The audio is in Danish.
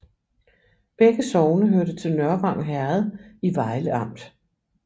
Begge sogne hørte til Nørvang Herred i Vejle Amt